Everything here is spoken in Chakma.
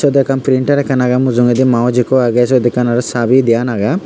dwekkan printer ekkan agey mujungedi mouse ikko agey syot ekkan aro chabi diyan agey.